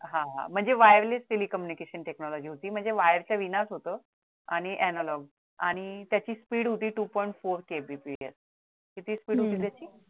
हा म्हणजे wireless telecommunication technology होती म्हणजे wire च्या विनाच होत आणि analog आणि त्याची speed होती two point four KBPS किती speed होती त्याची